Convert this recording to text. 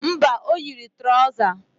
Mba, o yiri trọza